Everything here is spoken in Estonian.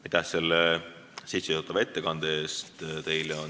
Aitäh selle sissejuhatava ettekande eest!